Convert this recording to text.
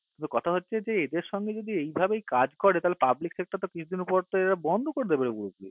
কিন্তু কথা হচ্ছে কি এদের সঙ্গে যদি এই ভাবেই কাজ করে তাহলে public sector র কিছুদিন তো এরা পর বন্ধ করে দেবে বলছে